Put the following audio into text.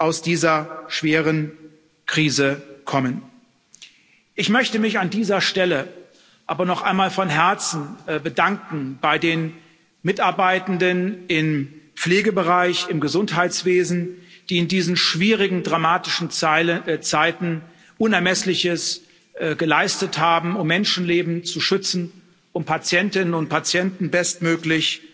aus dieser schweren Krise kommen. Ich möchte mich an dieser Stelle aber noch einmal von Herzen bei den Mitarbeitenden im Pflegebereich und im Gesundheitswesen bedanken, die in diesen schwierigen, dramatischen Zeiten Unermessliches geleistet haben, um Menschenleben zu schützen und Patientinnen und Patienten bestmöglich